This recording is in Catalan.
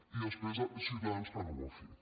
i després ciutadans que no ho ha fet